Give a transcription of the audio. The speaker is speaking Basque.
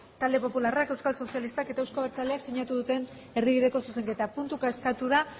talde popularrak euskal sozialistak eta euzko abertzaleak sinatu duten erdibideko zuzenketa puntuka eskatu da